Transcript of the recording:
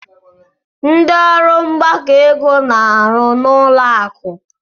Ndị ọrụ mgbakọ ego na-arụ n'ụlọ akụ.